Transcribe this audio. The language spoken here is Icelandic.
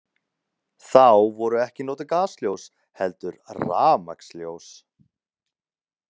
Þá voru ekki notuð gasljós heldur rafmagnsljós.